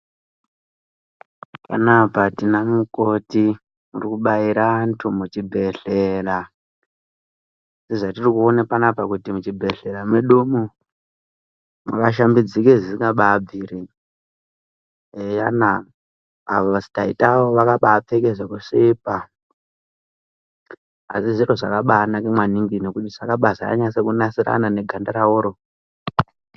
Panapa tina mukoti arikubaira vantu muchibhedhleya ,zvatirikuona panapa kuti muchibhedhleya medu umu makashambidzika zvisikabaabviri, eyana avo taita avo vakapfeke zviro zvekusvipa asi zvakabaanaka ngokuti zvakaenderana neganda ravo .